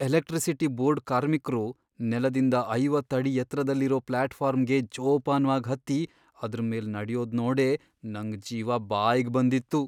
Electricity board ಕಾರ್ಮಿಕ್ರು ನೆಲದಿಂದ ಐವತ್ತ್ ಅಡಿ ಎತ್ರದಲ್ಲಿರೋ ಪ್ಲಾಟ್ಫಾರ್ಮ್ಗೆ ಜೋಪಾನ್ವಾಗ್ ಹತ್ತಿ ಅದ್ರ್ ಮೇಲ್ ನಡ್ಯೋದ್ನೋಡೇ ನಂಗ್ ಜೀವ ಬಾಯ್ಗ್ ಬಂದಿತ್ತು.